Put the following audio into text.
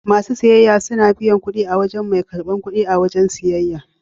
Masu siyayya suna biyan kudi a wajen mai karbar kudi a wajen siyayya.